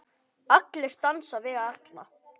Allir dansa við alla.